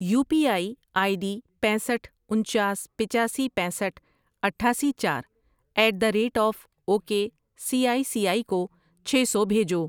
You P I I D پینسٹھ ،انچاس، پچاسی، پینسٹھ ،اٹھاسی، چار at the rate of O K C I C I کو چھ سو بھیجو۔